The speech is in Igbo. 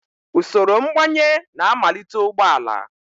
Usoro mgbanye na-amalite ụgbọ ala